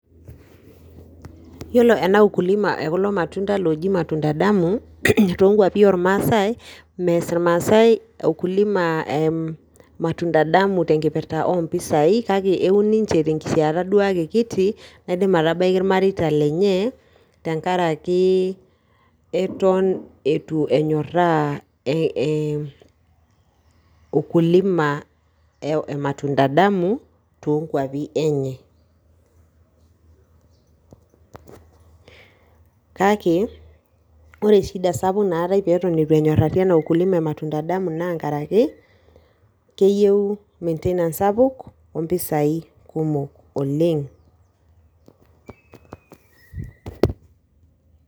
Yiolo ena ukulima ekulo matunda loji matunda damu, tonkwapi ormaasai, mees irmaasai ukulima matunda damu tenkipirta ompisai, kake eun ninche tenkisiata duo ake kiti, naidim atabaiki irmareita lenye tenkaraki eton itu enyorraa ukulima e matunda damu, tonkwapi enye. Kake, ore shida sapuk naatae peton itu enyorrari ena ukulima e matunda damu naa nkaraki keyieu maintenance sapuk, ompisai kumok oleng.